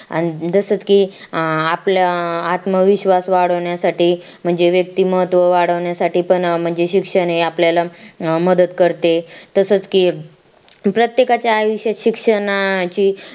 आण जसं की आपलं आत्मविश्वास वाढवण्यासाठी म्हणजे व्यक्तिमत्व वाढवण्यासाठी पण शिक्षण हे आपल्याला मदत करते तसंच की प्रत्येकच्या आयुष्यात शिक्षणाची